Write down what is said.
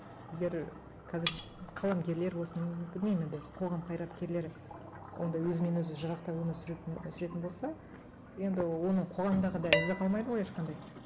егер қазір қаламгерлер болсын білмеймін енді қоғам қайраткерлері онда өзімен өзі жырақтап өмір сүріп сүретін болса енді оның қоғамдағыдай ізі қалмайды ғой ешқандай